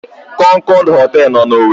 Kọnkọd họtelụ nọ n'Owere.